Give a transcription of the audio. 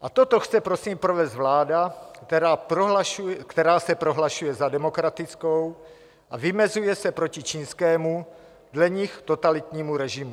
A toto chce prosím provést vláda, která se prohlašuje za demokratickou a vymezuje se proti čínskému, dle nich totalitnímu režimu.